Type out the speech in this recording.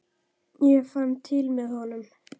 Ég fann til með honum.